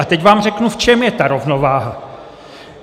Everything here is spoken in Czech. A teď vám řeknu, v čem je ta rovnováha.